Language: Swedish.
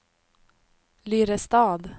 Lyrestad